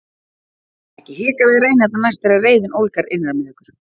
Ekki hika við að reyna þetta næst þegar reiðin ólgar innra með ykkur!